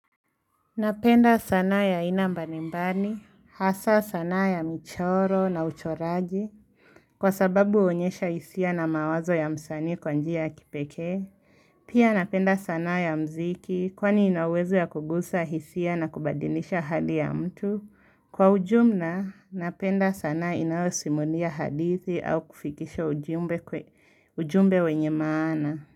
Napenda sanaa ya aina mbalimbali, hasa sanaa ya michoro na uchoraji, kwa sababu huonyesha hisia na mawazo ya msanii kwa njia kipekee. Pia napenda sanaa ya mziki, kwani inaweza ya kugusa hisia na kubadilisha hali ya mtu. Kwa ujumla, napenda sanaa inayosimulia hadithi au kufikisha ujumbe wenye maana.